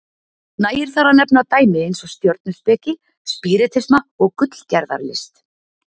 Nægir þar að nefna dæmi eins og stjörnuspeki, spíritisma og gullgerðarlist.